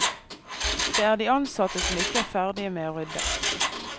Det er de ansatte som ikke er ferdige med å rydde.